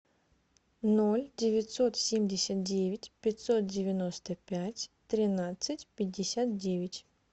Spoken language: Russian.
ноль девятьсот семьдесят девять пятьсот девяносто пять тринадцать пятьдесят девять